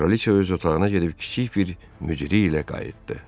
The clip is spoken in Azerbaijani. Kraliçə öz otağına gedib kiçik bir mücrü ilə qayıtdı.